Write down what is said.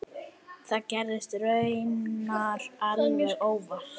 Það gerðist raunar alveg óvart.